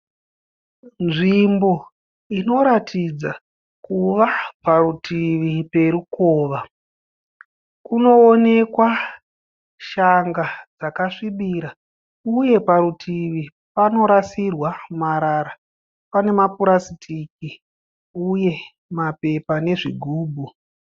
Nzvimbo inoratidza kuva parutivi perukova. Kunoonekwa shanga dzakasvibira uye parutivi panorasirwa marara. Pane mapurasitiki uye mapepa nezvigumbu.